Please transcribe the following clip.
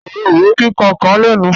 Òrombó kíkan kàn lẹ̀nu